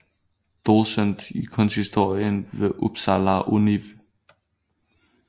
Docent i Kunsthistorie ved Upsala Univ